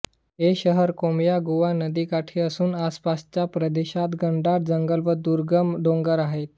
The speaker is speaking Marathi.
हे शहर कोमायागुआ नदीकाठी असून आसपासच्या प्रदेशात घनदाट जंगल व दुर्गम डोंगर आहेत